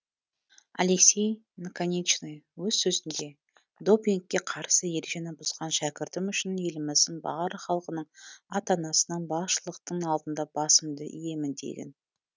алексей наконечный өз сөзінде допингке қарсы ережені бұзған шәкіртім үшін еліміздің барлық халқының ата анасының басшылықтың алдында басымды иемін деген